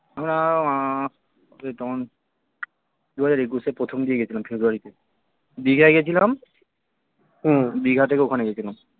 আমরা আহ ওই তখন দু হাজার একুশের প্রথম দিকে গেছিলাম ফেব্রুয়ারি তে দিঘায় গেছিলাম দিঘা থেকে ওখানে গেছিলাম